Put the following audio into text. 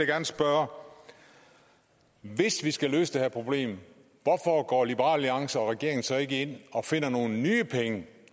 gerne spørge hvis vi skal løse det her problem hvorfor går liberal alliance og regeringen så ikke ind og finder nogle nye penge